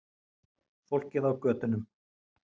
Fólkið á götunum.